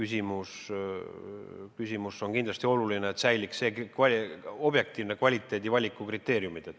See küsimus on kindlasti oluline, et säiliks objektiivsed kvaliteedi- ja valikukriteeriumid.